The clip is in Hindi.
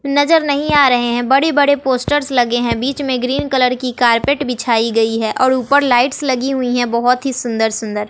नजर नहीं आ रहे हैं बड़े बड़े पोस्टर्स लगे हैं बीच में ग्रीन कलर की कारपेट बिछाई गई है और ऊपर लाइट्स लगी हुई है बहोत ही सुंदर सुंदर--